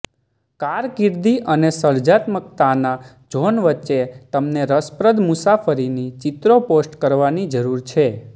કારકિર્દી અને સર્જનાત્મકતાના ઝોન વચ્ચે તમને રસપ્રદ મુસાફરીની ચિત્રો પોસ્ટ કરવાની જરૂર છે